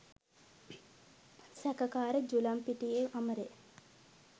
සැකකාර ජුලම්පිටියේ අමරේ